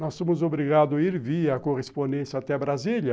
Nós fomos obrigados a ir via correspondência até Brasília,